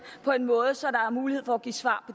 på en måde så der er mulighed for at give svar